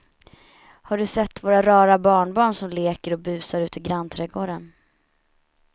Har du sett våra rara barnbarn som leker och busar ute i grannträdgården!